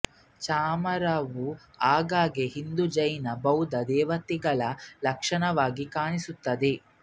ಚಾಮರವು ಆಗಾಗ್ಗೆ ಹಿಂದೂ ಜೈನ ಬೌದ್ಧ ದೇವತೆಗಳ ಲಕ್ಷಣವಾಗಿ ಕಾಣಿಸುತ್ತದೆ